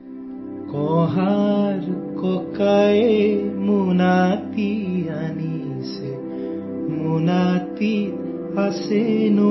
Assamese sound clip 35 seconds Hindi translation